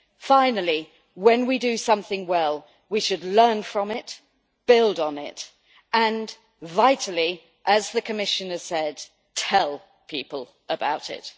Finally, when we do something well we should learn from it, build on it and, vitally, as the Commissioner said, tell people about it!